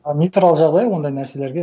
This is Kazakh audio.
ы нейтрал жағдай ондай нәрселерге